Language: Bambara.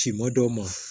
Finma dɔw ma